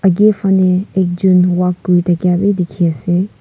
akae fanae ekjon walk kuri thaka bi dikhiase.